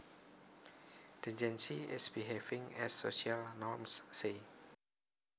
Decency is behaving as social norms say